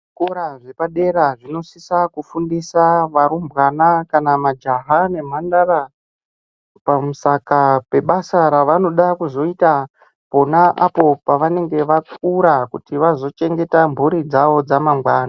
Zvikora zvepadera zvinosisa kufundisa varumbwana kna majaha nemhandara pamusaka pebasa ravanoda kuzoita pona apo pavanenge vakura kuti vazochengeta mhuri dzawo dzamangwani.